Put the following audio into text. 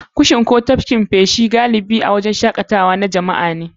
Kushin fantsama ko tafkin feshi wuri ne na nishaɗi, galibi a wurin shakatawa na jama'a.